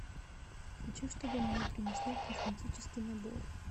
хочу чтобы мне принесли косметический набор